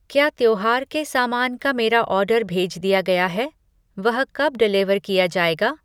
क्या त्योहार के सामान का मेरा ऑर्डर भेज दिया गया है? वह कब डेलिवर किया जाएगा?